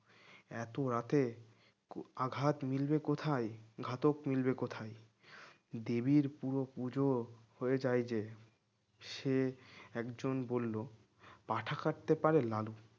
এত রাতে আঘাত মিলবে কোথায়? ঘাতক মিলবে কোথায়? দেবীর পুরো পূজা হয়ে যায় যে। সে একজন বলল পাঁঠা কাটতে পারে লালু